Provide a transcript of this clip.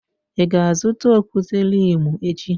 Ị ga-azụta okwute-limu echi?